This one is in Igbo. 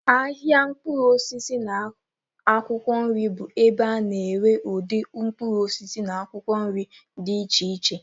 Ahịa mkpụrụ osisi na akwụkwọ nri bụ ebe a na-ere ụdị mkpụrụ osisi na akwụkwọ nri dị iche iche.